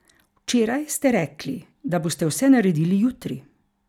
Včeraj ste rekli, da boste vse naredili jutri.